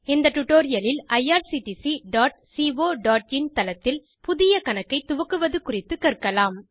இந்த டுடோரியலில் irctccoஇன் தளத்தில் புதிய கணக்கை துவக்குவது குறித்துக் கற்கலாம்